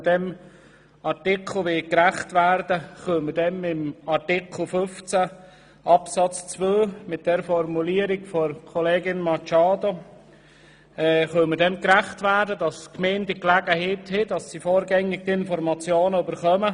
Mit der Formulierung der Kollegin Machado zu Artikel 15 Absatz 2 können wir dem gerecht werden, dass die Gemeinden die Gelegenheit erhalten und vorgängig zu Informationen kommen.